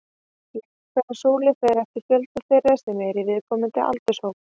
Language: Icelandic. Lengd hverrar súlu fer eftir fjölda þeirra sem eru í viðkomandi aldurshópi.